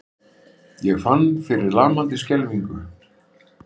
Ég fann fyrir lamandi skelfingu.